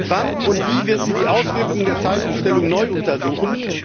Wann und wie wird sie die Auswirkungen der Zeitumstellung neu untersuchen?